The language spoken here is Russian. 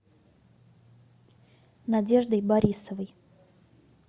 надеждой борисовой